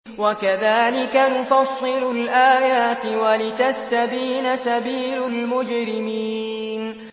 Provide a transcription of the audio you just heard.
وَكَذَٰلِكَ نُفَصِّلُ الْآيَاتِ وَلِتَسْتَبِينَ سَبِيلُ الْمُجْرِمِينَ